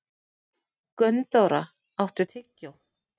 Gunndóra, áttu tyggjó?